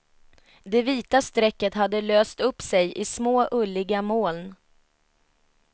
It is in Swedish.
Det vita strecket hade löst upp sej i små, ulliga moln.